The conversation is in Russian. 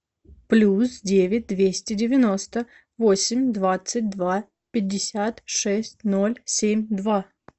плюс девять двести девяносто восемь двадцать два пятьдесят шесть ноль семь два